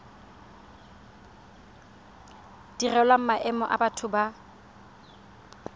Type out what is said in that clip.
direlwang maemo a batho ba